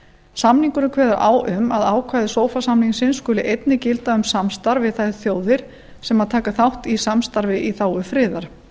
samningurinn kveður á um að ákvæði sofa samningsins skuli einnig gilda um samstarf við þær þjóðir sem taka þátt í samstarfi í þágu friðar